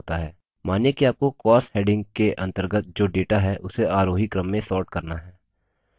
मानिए कि आपको costs heading के अंतर्गत जो data है उसे आरोही क्रम में sort करना है